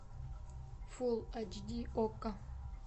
фул эйч ди окко